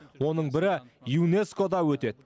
оның бірі юнеско да өтеді